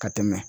Ka tɛmɛ